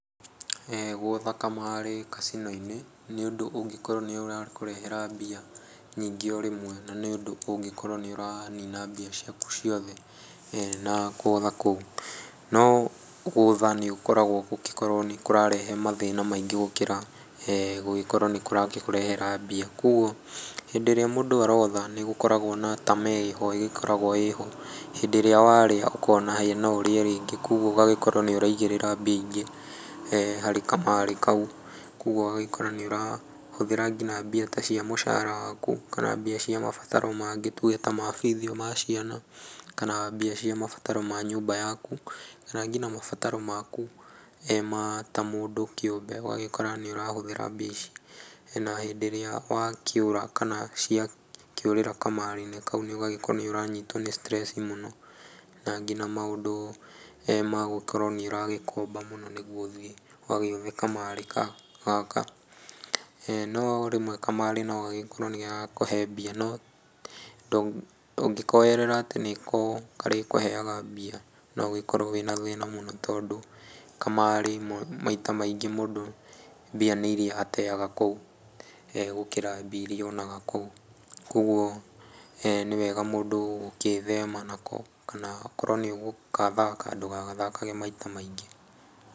Gũtha kamarĩ kacino-inĩ nĩ ũndũ ũngĩkorwo nĩũrakũrehera mbia nyingĩ o rĩmwe, na nĩ ũndũ ũngĩkorwo nĩ ũranina mbia ciaku ciothe na gũtha kũu. No gũtha nĩ gũkoragwo nĩ kũrarehe mathĩna maingĩ gũkĩra gũkorwo nĩkũrakũrehera mbia. Koguo hĩndĩ ĩrĩa mũndũ arotha nĩgũkoragwo na tamaa ĩho ĩgĩkoragwo ĩrĩho hĩndĩ ĩrĩa warĩa ũkona hĩĩ no ũrĩe rĩngĩ. Koguo ũgakorwo nĩ ũraigĩrĩra mbia ingĩ harĩ kamarĩ kau, koguo ũgagĩkora nĩũrahũthĩra nginya ta mbia cia mũcara waku, kana mbia cia mabataro mangĩ tuge ta mabithi ma ciana kana mbia cia mabataro mangi ta ma nyũmba yaku, kana nginya mabataro maku ta mũndũ kĩũmbe ũgagĩkora nĩũrahũthĩra mbia ici na rĩrĩa ciakĩura kana ciorĩra kamarĩ-inĩ kau ũgagĩkorwo nĩ ũranyitwo nĩ stress mũno. Na nginya maũndũ ma gũkorwo nĩũragĩkomba mũno, nĩgetha ũthiĩ ũgagĩũthe kamarĩ gaka. No rĩmwe kamarĩ nĩgakoragwo ga gũkũhe mbia no ũngĩkoerera atĩ nĩko karĩkũheyaga mbia no ũkorwo wĩna thĩna mũno, tondũ kamarĩ maita maingĩ mũndũ mbia nĩ iria ateyaga kũu gũkĩra mbia iria onaga kũu, koguo nĩ wega mũndũ gũkĩthema nako, kana akorwo nĩ ũgũgathaka ndũgagathakage maita maingĩ.